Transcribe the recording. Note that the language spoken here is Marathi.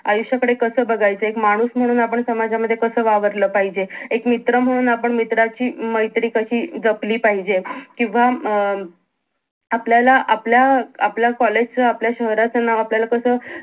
आयुष्याकडे कस बघायचं एक माणूस म्हणून आपण समाजामध्ये कस वावरल पाहिजे एक मित्र म्हणून आपण मित्राची म मैत्री कशी अं जपली पाहिजे किंवा अं आपल्याला आपल्या अं आपल्या कॉलेज च आपल्या शहराचं नाव आपल्याला कसं